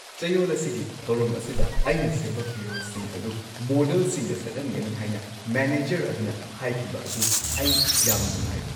ꯆꯌꯣꯜ ꯑꯁꯤꯒꯤ ꯊꯧꯔꯝ ꯑꯁꯤꯗ ꯑꯩꯅ ꯁꯦꯝꯕ ꯐꯤꯔꯣꯜꯁꯤꯡ ꯑꯗꯨ ꯃꯣꯗꯦꯜꯁꯤꯡꯗ ꯁꯦꯠꯍꯟꯒꯅꯤ ꯍꯥꯏꯅ ꯃꯦꯅꯦꯖꯔ ꯑꯗꯨ ꯍꯥꯏꯈꯤꯕ ꯑꯗꯨꯗ ꯑꯩ ꯌꯥꯝꯅ ꯅꯨꯡꯉꯥꯏꯔꯦ꯫